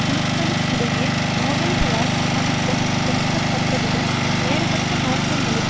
குழுக்களுக்கிடையே மோதல்களால் ஆதிக்கம் செலுத்தப்பட்டதுடன் வேறுபட்ட நோக்கங்களை